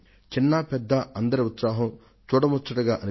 చిన్నా పెద్దా అందరిలోను తొణికిసలాడిన ఉత్సాహం చూడముచ్చటేసింది